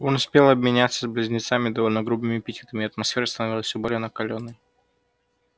он успел обменяться с близнецами довольно грубыми эпитетами и атмосфера становилась все более накалённой